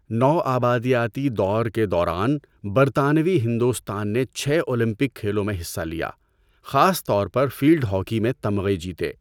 نوآبادیاتی دور کے دوران، برطانوی ہندوستان نے چھ اولمپک کھیلوں میں حصہ لیا، خاص طور پر فیلڈ ہاکی میں تمغے جیتے۔